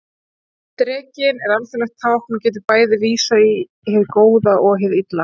Drekinn er alþjóðlegt tákn og getur bæði vísað í hið góða og hið illa.